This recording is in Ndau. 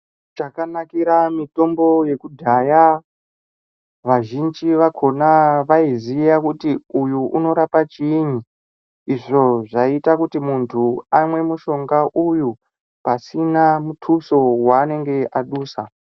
Chakanakira mitombo yekudhaya, vazhinji vakhona vaiziya kuti uyu unorapa chiyini izvo zvaiita kuti muntu amwe mushonga uyu pasina mutuso weanenge adusa.